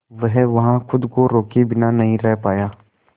वह वहां खुद को रोके बिना नहीं रह पाया